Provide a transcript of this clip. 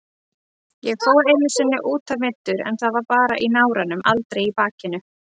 Ég fór einu sinni útaf meiddur en það var bara í náranum, aldrei í bakinu.